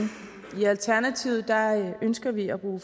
i alternativet ønsker vi at bruge